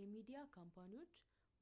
የሚዲያ ካምፓኒዎች